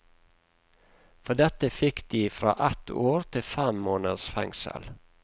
For dette fikk de fra ett år til fem måneders fengsel.